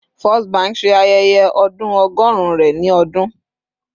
First Bank ṣe ayẹyẹ ọdun ọgọrun rẹ ni ọdun